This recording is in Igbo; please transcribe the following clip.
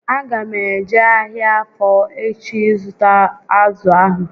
A ga m eje ahịa Afọ echi ịzụta azụ ahụ